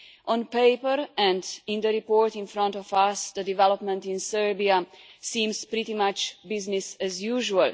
On paper and in the report in front of us, the development in Serbia seems pretty much business as usual.